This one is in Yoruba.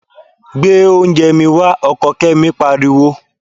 Gbé oúnjẹ mi wá! Ọkọ Kẹ́mi pariwo.